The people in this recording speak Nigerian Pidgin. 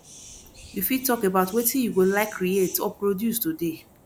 you fit talk about wetin you go like create or produce today